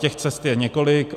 Těch cest je několik.